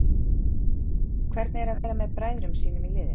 Hvernig er að vera með bræðrum sínum í liðinu?